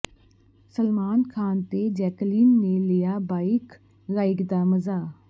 ਸਲਮਾਨ ਖਾਨ ਤੇ ਜੈਕਲੀਨ ਨੇ ਲਿਆ ਬਾਈਕ ਰਾਈਡ ਦਾ ਮਜ਼ਾ